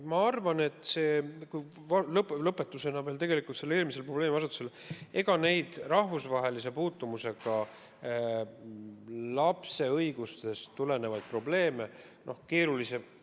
Ma arvan, lõpetusena eelmisele probleemiasetusele, et need rahvusvahelise puutumusega lapse õigustest tulenevad probleemid on keerulised.